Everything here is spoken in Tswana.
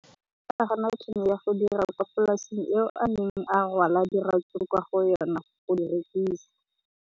O ne a gana tšhono ya go dira kwa polaseng eo a neng rwala diratsuru kwa go yona go di rekisa.